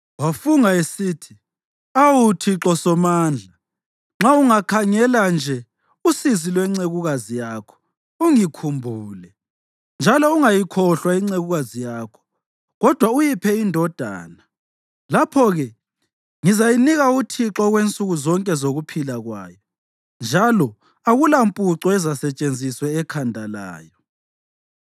Wafunga esithi, “Awu, Thixo Somandla, nxa ungakhangela nje usizi lwencekukazi yakho ungikhumbule, njalo ungayikhohlwa incekukazi yakho kodwa uyiphe indodana, lapho-ke ngizayinika uThixo okwensuku zonke zokuphila kwayo, njalo akulampuco ezasetshenziswe ekhanda layo.”